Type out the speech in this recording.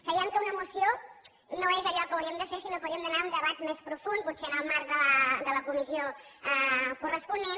creiem que una moció no és allò que hauríem de fer sinó que hauríem d’anar a un debat més profund potser en el marc de la comissió corresponent